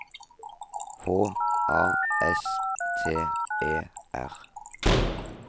H A S T E R